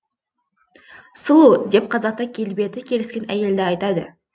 сұлу деп қазақта келбеті келіскен әйелді айтады